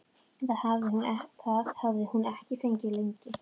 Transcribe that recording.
Það hafði hún ekki fengið lengi.